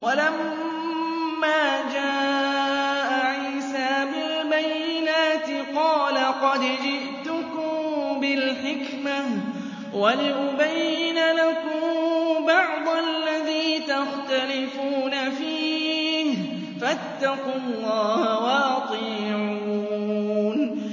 وَلَمَّا جَاءَ عِيسَىٰ بِالْبَيِّنَاتِ قَالَ قَدْ جِئْتُكُم بِالْحِكْمَةِ وَلِأُبَيِّنَ لَكُم بَعْضَ الَّذِي تَخْتَلِفُونَ فِيهِ ۖ فَاتَّقُوا اللَّهَ وَأَطِيعُونِ